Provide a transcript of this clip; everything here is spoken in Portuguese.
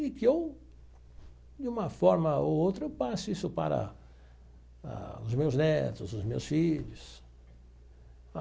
E que eu, de uma forma ou outra, eu passo isso para os meus netos, os meus filhos.